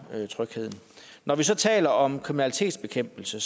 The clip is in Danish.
trygheden når vi taler om kriminalitetsbekæmpelse